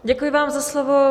Děkuji vám za slovo.